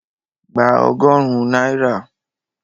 Gba ọgọ́rùn-ún náírà!